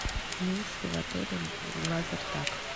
имеется ли в отеле лазертаг